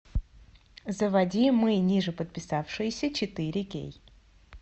заводи мы нижеподписавшиеся четыре кей